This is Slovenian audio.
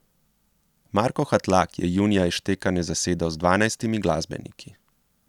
Marko Hatlak je junija Izštekane zasedel z dvanajstimi glasbeniki.